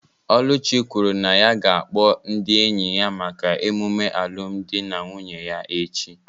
Oluchi kwuru na ya ga-akpọ ndị enyi ya maka emume alụmdi na nwunye ya echi